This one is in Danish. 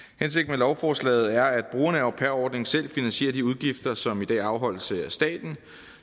lovforslaget er at brugerne af au pair ordningen selv finansierer de udgifter som i dag afholdes af staten